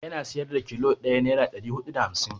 Yana siyar da kilo ɗaya naira ɗari huɗu da hamsin.